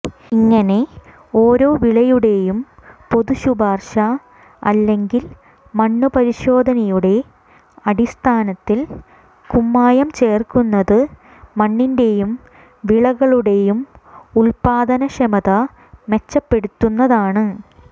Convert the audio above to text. ഇങ്ങനെ ഓരോ വിളയുടെയും പൊതു ശുപാർശ അല്ലെങ്കിൽ മണ്ണുപരിശോധനയുടെ അടിസ്ഥാനത്തിൽ കുമ്മായം ചേർക്കുന്നത് മണ്ണിന്റെയും വിളകളുടെയും ഉൽപാദനക്ഷമത മെച്ചപ്പെടുന്നതാണ്